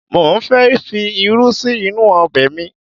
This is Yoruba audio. Mo ń fẹ fi irú sí inú ọbẹ̀ mi